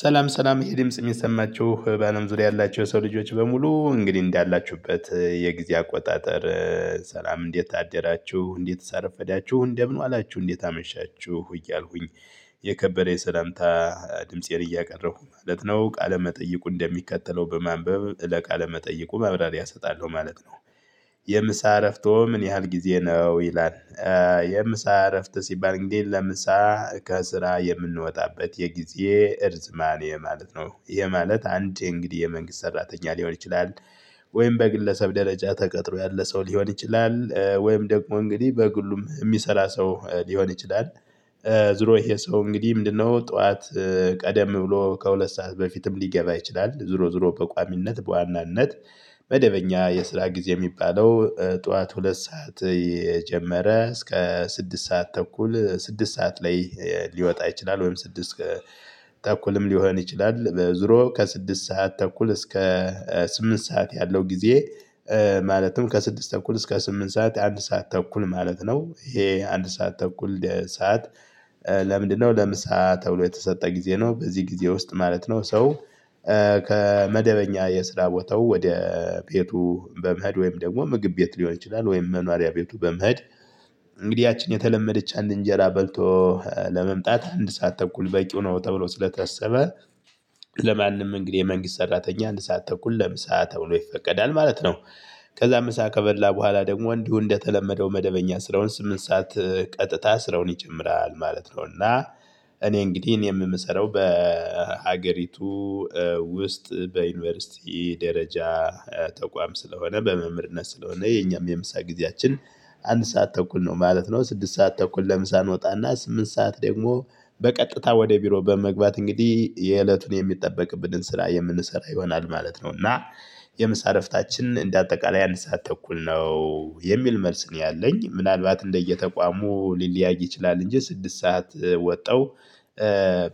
ሰላም ሰላም ይህ ድምጽ የሚሰማችሁ በአለም ዙሪያ ያላቸው የሰው ልጆች በሙሉ እንግዲህ እንዳላችሁበት የጊዜ አቆጣጠር። ሰላም እንዴት አደራችሁ እንዴትስ አረፈዳችሁ እንደምን ዋላችሁ እንዴት አመሻችሁ እያልኩኝ የከበደ የሰላምታ ድምፄን እያቀረብኩ ማለት ነው ቃለ መጠይቁ እንደሚከተለው በማንበብ ለቃለ መጠየቁ መብራሪያ እሰጣለሁ ማለት ነው። የምሳ እረፍቶ ምን ያህል ጊዜ ነው ይላል? የምሳ እረፍት ሲባል እንግዲህ ለምሳ ከስራ የምንወጣበት የጊዜ እርዝማኔ ማለት ነው። ይሄ ማለት አንዴ እንግዲህ የመንግስት ሰራተኛ ሊሆን ይችላል። ወይም በግለሰብ ደረጃ ተቀጥሮ ያለ ሰው ሊሆን ይችላል ወይም ደግሞ እንግዲህ በግሉም የሚሰራ ሰው ሊሆን ይችላል። ዝሮ ይሄ ሰው እንግዲህ ምንድነው ጠዋት ቀደም ብሎ ከሁለት ሰዓት በፊትም ሊገባ ይችላል ዝሮ ዝሮ በቋሚነት በዋናነት። መደበኛ የስራ ጊዜ የሚባለው ጠዋት ሁለት ሰዓት የጀመረ እስከ ስድስት ሰዓት ተኩል ስድስት ሰዓት ላይ ሊወጣ ይችላል። ወይም ስድስት ተኩልም ሊሆን ይችላል በዙሮ ከስድስት ሰዓት ተኩል እስከ ስምንት ሰዓት ያለው ጊዜ። ማለትም ከስድስት ተኩል እስከ ስምንት ሰዓት አንድ ሰዓት ተኩል ማለት ነው። ይሄ አንድ ሰዓት ተኩል ሰዓት? ለምንድነው ለምሳ ተብሎ የተሰጠ ጊዜ ነው በዚህ ጊዜ ውስጥ ማለት ነው ሰው። ከመደበኛ የስራ ቦታው ወደ ቤቱ በመሄድ ወይም ደግሞ ምግብ ቤት ሊሆን ይችላል ወይም መኖሪያ ቤቱ በመሄድ። እንግዲህ ያችን የተለመደች አንድ እንጀራ በልቶ ለመምጣት አንድ ሰዓት ተኩል በቂው ነው ተብሎ ስለተሰበ። ለማንም እንግዲህ የመንግስት ሰራተኛ አንድ ሰዓት ተኩል ለምሳ ተብሎ ይፈቀዳል ማለት ነው። ከዛ ምሳ ከበላ በኋላ ደግሞ እንዲሁ እንደተለመደው መደበኛ ስረውን ስምንት ሰዓት ቀጥታ ስረውን ይጨምራል ማለት ነው። እና እኔ እንግዲህ እኔም የምሰራው በሀገሪቱ ውስጥ በዩኒቨርሲቲ ደረጃ ተቋም ስለሆነ በመምርነት ስለሆነ የኛም የምሳ ጊዜያችን አንድ ሰዓት ተኩል ነው ማለት ነው። ስድስት ሰዓት ተኩል ለምሳ እንወጣና ስምንት ሰዓት ደግሞ በቀጥታ ወደ ቢሮ በመግባት እንግዲህ የእለቱን የሚጠበቅብንን ስራ የምንሰራ ይሆናል ማለት ነው። እና የምሳ ዕረፍታችን እንደ አጠቃላይ አንድ ሰዓት ተኩል ነው የሚል መልስ ነው ያለኝ ምናልባት እንደየተቋሙ ሊለያይ ይችላል እንጂ ስድስት ሰዓት ወጣው።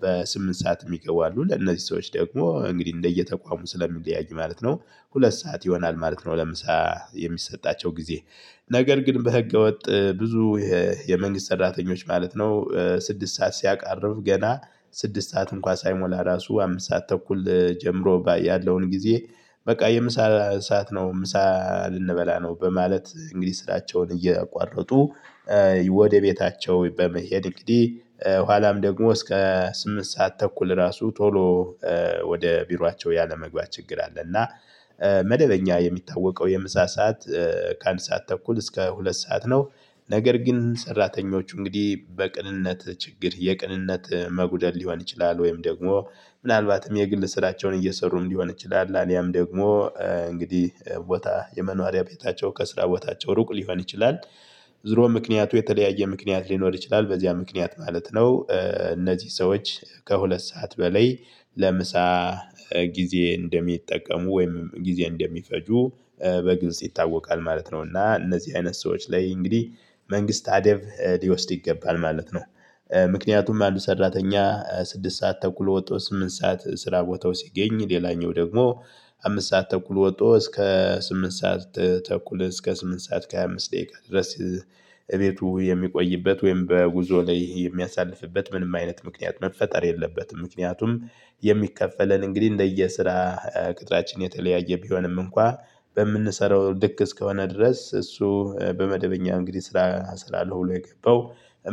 በስምንት ሰዓት የሚገቡ አሉ ለነዚህ ሰዎች ደግሞ እንግዲህ እንደየተቋሙ ስለሚለያዩ ማለት ነው። ሁለት ሰዓት ይሆናል ማለት ነው ለምሳ የሚሰጣቸው ጊዜ። ነገር ግን በህገወጥ ብዙ የመንግስት ሰራተኞች ማለት ነው። ስድስት ሰዓት ሲያቃርብ ገና ስድስት ሰዓት እንኳን ሳይሞላ ራሱ አምስት ሰዓት ተኩል ጀምሮ ባያለውን ጊዜ። በቃ የምሳ ሰዓት ነው ምሳ ልንበላ ነው በማለት እንግዲህ ስራቸውን እየቋረጡ ወደ ቤታቸው በመሄድ እንግዲህ ኋላም ደግሞ እስከ ስምንት ሰዓት ተኩል ራሱ ቶሎ ወደ ቢሯቸው ያለመግባት ችግር አለ። እና መደበኛ የሚታወቀው የምሳ ሰዓት ከአንድ ሰዓት ተኩል እስከ ሁለት ሰዓት ነው። ነገር ግን ሰራተኞች እንግዲህ በቅንነት ችግር የቅንነት መጉደል ሊሆን ይችላል ወይም ደግሞ ምናልባትም የግል ስራቸውን እየሰሩም ሊሆን ይችላል አሊያም ደግሞ እንግዲህ ቦታ የመኖሪያ ቤታቸው ከስራ ቦታቸው ሩቅ ሊሆን ይችላል። ዝሮ ምክንያቱ የተለያየ ምክንያት ሊኖር ይችላል በዚያ ምክንያት ማለት ነው። እነዚህ ሰዎች ከሁለት ሰዓት በላይ ለምሳ ጊዜ እንደሚጠቀሙ ወይም ጊዜ እንደሚፈጁ በግልጽ ይታወቃል ማለት ነው። እና እነዚህ አይነት ሰዎች ላይ እንግዲህ መንግስት አደብ ሊወስድ ይገባል ማለት ነው። ምክንያቱም አንድ ሰራተኛ ስድስት ሰዓት ተኩሎ ወጦ ስምንት ሰዓት ስራ ቦታው ሲገኝ ሌላኛው ደግሞ አምስት ሰዓት ተኩል ወጥቶ እስከ ስምንት ሰዓት ተኩል እስከ ስምንት ሰዓት ከሃያ አምስት ደቂቃ ድረስ። እቤቱ የሚቆይበት ወይም በጉዞ ላይ የሚያሳልፍበት ምንም አይነት ምክንያት መፈጠር የለበትም። ምክንያቱም የሚከፈለን እንግዲህ እንደየ ስራ ቅጥራችን የተለያየ ቢሆንም እንኳን በምንሰራው ልክ እስከሆነ ድረስ እሱ በመደበኛ እንግዲህ ስራ ስላለው ብሎ የገባው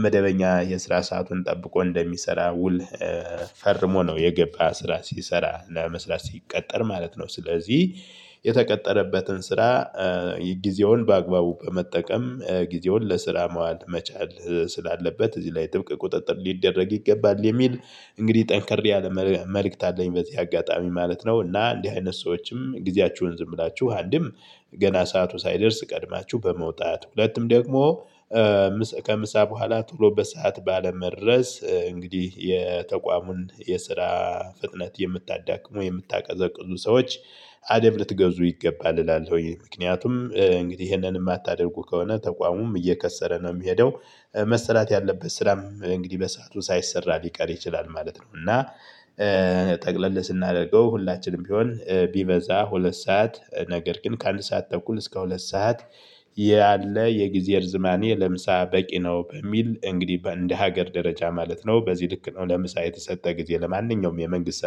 መደበኛ የስራ ሰአቱን ጠብቆ እንደሚሰራ ውል። ፈርሞ ነው የገባ ስራ ሲሰራ እና መስራት ሲቀጠር ማለት ነው። ስለዚህ የተቀጠረበትን ስራ ጊዜውን በአግባቡ በመጠቀም ጊዜውን ለስራ መዋል መቻል ስላለበት እዚህ ላይ ጥብቅ ቁጥጥር ሊደረግ ይገባል የሚል። እንግዲህ ጠንከር ያለ መልእክት አለኝ በዚህ አጋጣሚ ማለት ነው። እና እንዲህ አይነት ሰዎችም ጊዜያችሁን ዝም ብላችሁ አንድም ገና ሰዓቱ ሳይደርስ ቀድማችሁ በመውጣት ሁለትም ደግሞ ከምሳ በኋላ ቶሎ በሰአት ባለመድረስ እንግዲህ የተቋሙን የስራ ፍጥነት የምታዳክሙ የምታቀዘቅዙ ሰዎች። አደብ ልትገዙ ይገባል እላለሁኝ ምክንያቱም እንግዲህ ይሄንን የማታደርጉ ከሆነ ተቋሙም እየከሰረ ነው የሚሄደው። መሰራት ያለበት ስራም እንግዲህ በሰአቱ ሳይሰራ ሊቀር ይችላል ማለት ነው። እና ጠቅለል ስናደርገው ሁላችንም ቢሆን ቢበዛ ሁለት ሰዓት ነገር ግን ከአንድ ሰዓት ተኩል እስከ ሁለት ሰዓት ያለ የጊዜ እርዝማኔ ለምሳ በቂ ነው። በሚል እንግዲህ በእንደ ሀገር ደረጃ ማለት ነው። በዚህ ልክ ነው ለምሳ የተሰጠ ጊዜ ለማንኛውም የመንግስት